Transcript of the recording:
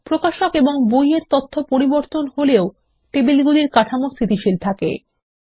প্রকাশক এবং বই -এর তথ্য পরিবর্তন হলেও টেবিলগুলির কাঠামো স্থিতিশীল রাখে